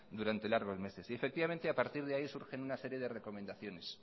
durante largos meses a partir de ahí surgen una serie de recomendaciones